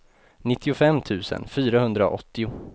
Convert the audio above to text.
nittiofem tusen fyrahundraåttio